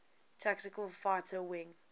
tactical fighter wing